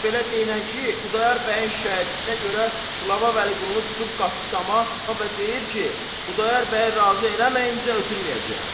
Elə belə deyinən ki, Xudayar bəyin şikayətinə görə qılava Vəliqulunu tutub qatdı dama və deyər ki, Xudayar bəyi razı eləməyincə ötürməyəcəyəm.